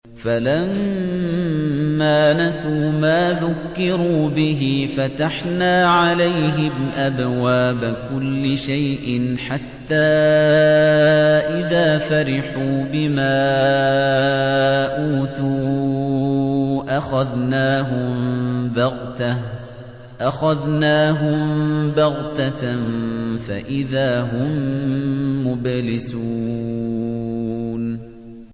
فَلَمَّا نَسُوا مَا ذُكِّرُوا بِهِ فَتَحْنَا عَلَيْهِمْ أَبْوَابَ كُلِّ شَيْءٍ حَتَّىٰ إِذَا فَرِحُوا بِمَا أُوتُوا أَخَذْنَاهُم بَغْتَةً فَإِذَا هُم مُّبْلِسُونَ